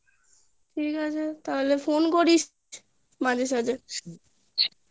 ঠিক আছে তাহলে phone করিস মাঝে সাঝে